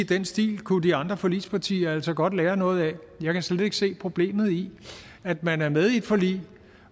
den stil kunne de andre forligspartier altså godt lære noget af jeg kan slet ikke se problemet i at man er med i et forlig